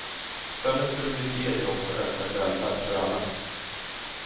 Följden skulle bli fler jobb och ökad välfärd för alla.